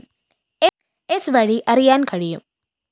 സ്‌ വഴി അറിയാന്‍ കഴിയും